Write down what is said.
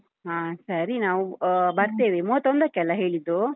ಹಾ ಸರಿ ನಾವು ಆ ಬರ್ತೇವೆ ಮೂವತ್ತೊಂದಕ್ಕೆ ಅಲ ಹೇಳಿದ್ದೂ?